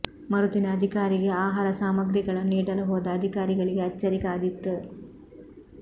ಮರುದಿನ ಅಧಿಕಾರಿಗೆ ಆಹಾರ ಸಾಮಗ್ರಿಗಳನ್ನು ನೀಡಲು ಹೋದ ಅಧಿಕಾರಿಗಳಿಗೆ ಅಚ್ಚರಿ ಕಾದಿತ್ತು